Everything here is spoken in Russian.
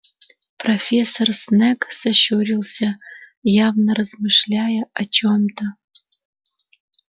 профессор снегг сощурился явно размышляя о чём-то